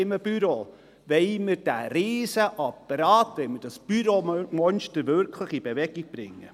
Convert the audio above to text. Wollen wir diesen Riesen-Apparat, wollen wir dieses Büro-Monster wirklich in Bewegung bringen?